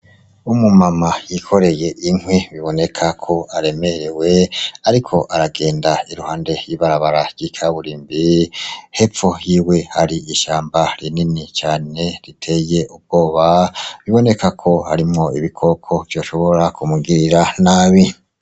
Umu mama byikoreye inkwi biboneka ko aremerewe ariko aragenda iruhande y' ibarabara ry'ikaburimbi hepfo yiwe hari ishamba rinini cane riteye ubwoba biboneka ko harimwo ibikoko vyoshobora kumugirira nabi.